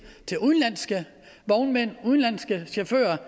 til udenlandske vognmænd og udenlandske chauffører